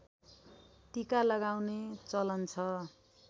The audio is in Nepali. टीका लगाउने चलन छ